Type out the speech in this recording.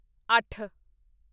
ਅੱਠ